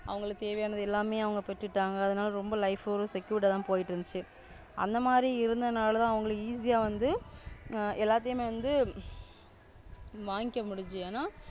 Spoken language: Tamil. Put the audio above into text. அவங்களுக்கு தேவையானது எல்லாமே அவங்க பெற்றுட்டாங்க. அதனால ரொம்ப Life Secured தான் போயிட்டு இருந்துச்சு. அந்த மாதிரி இருந்தனால தான் அவங்களுக்கு Easy வந்து எல்லாத்தையுமே வந்து வாங்கிக்க முடிது, என.